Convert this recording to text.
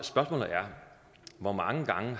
hvor mange gange